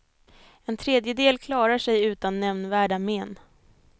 En tredjedel klarar sig utan nämnvärda men.